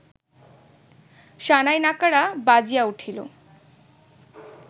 শানাই-নাকাড়া বাজিয়া উঠিল